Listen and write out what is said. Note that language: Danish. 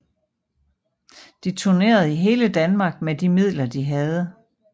De turnerede i hele Danmark med de midler de havde